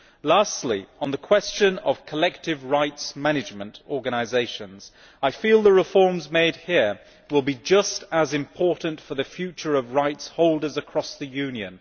Lastly, on the question of collective rights management organisations, I feel the reforms made here will be just as important for the future of rights holders across the Union.